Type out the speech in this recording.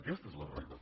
aquesta és la realitat